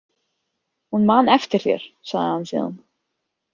Hún man eftir þér, sagði hann síðan.